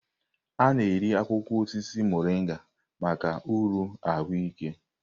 A na-eri akwụkwọ osisi Morịnga maka uru ahụike.